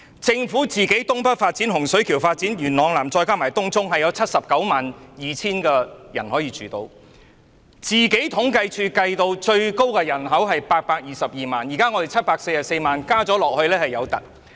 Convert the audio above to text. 政府推動的東北發展、洪水橋發展和元朗南發展計劃，再加上東涌項目，預計可供792000人居住，而政府統計處預計的最高人口為822萬，比現有的744萬人口還要高。